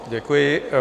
Děkuji.